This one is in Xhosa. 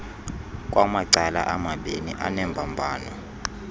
kwamacala amabiini anembambano